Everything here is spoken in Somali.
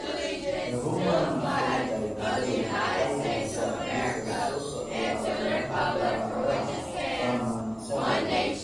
The Human Phenotype Ontology waxay bixisaa liiska soo socda ee calaamadaha iyo calaamadaha Fuhrmann syndrome.